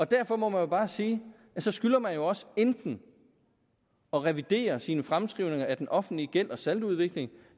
derfor må jeg bare sige at så skylder man jo også enten at revidere sine fremskrivninger af den offentlige gæld og saldoudvikling